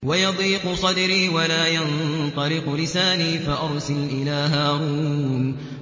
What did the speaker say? وَيَضِيقُ صَدْرِي وَلَا يَنطَلِقُ لِسَانِي فَأَرْسِلْ إِلَىٰ هَارُونَ